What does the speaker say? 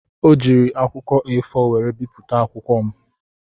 O jiiri akwụkwọ A4 were bipụta akwụkwọ m.